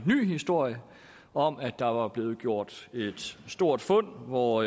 ny historie om at der var blevet gjort et stort fund hvor